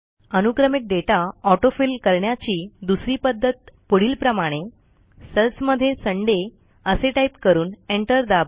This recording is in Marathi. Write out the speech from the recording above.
अनुक्रमिक डेटा ऑटो फिल करण्याची दुसरी पध्दत पुढीलप्रमाणे सेल्समध्ये सुंदय असे टाईप करून एंटर दाबा